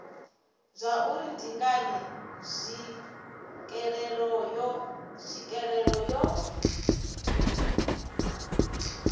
zwauri ndi ngani tswikelelo yo